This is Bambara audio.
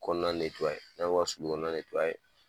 Kɔnɔna jagoya